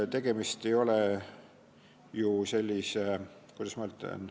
" Tegemist ei ole ju sellise – kuidas ma ütlen?